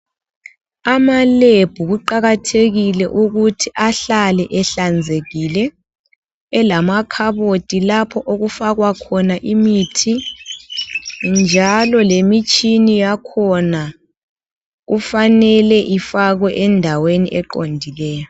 Amalab kuqakathekile ukuthi ahlale ehlanzekile elamakhabothi lapho okufakwa khona imithi njalo lemitshini yakhona kufanele ifakwe endaweni eqondileyo.